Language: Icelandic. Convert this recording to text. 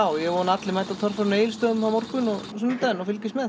ég vona að allir mæti á torfæruna á Egilsstöðum og morgun og á sunnudaginn og fylgist með